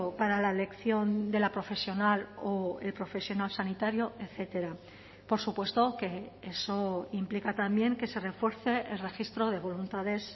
para la elección de la profesional o el profesional sanitario etcétera por supuesto que eso implica también que se refuerce el registro de voluntades